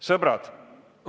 Sõbrad!